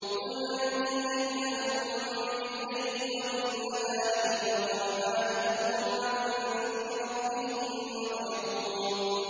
قُلْ مَن يَكْلَؤُكُم بِاللَّيْلِ وَالنَّهَارِ مِنَ الرَّحْمَٰنِ ۗ بَلْ هُمْ عَن ذِكْرِ رَبِّهِم مُّعْرِضُونَ